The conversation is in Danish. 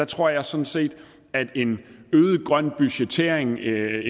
tror jeg sådan set at en øget grøn budgettering et